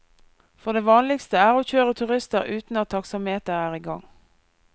For det vanligste er å kjøre turister uten at taksameteret er i gang.